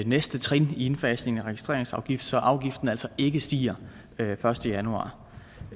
næste trin i indfasningen af registreringsafgiften så afgiften altså ikke stiger den første januar